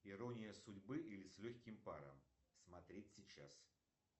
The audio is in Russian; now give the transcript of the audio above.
ирония судьбы или с легким паром смотреть сейчас